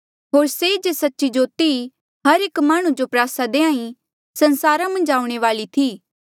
होर से जे सच्ची जोती हर एक माह्णुं जो प्रयासा देहां ईं संसारा मन्झ आऊणें वाली थी